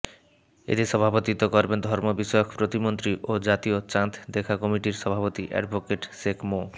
এতে সভাপতিত্ব করবেন ধর্ম বিষয়ক প্রতিমন্ত্রী ও জাতীয় চাঁদ দেখা কমিটির সভাপতি এডভোকেট শেখ মো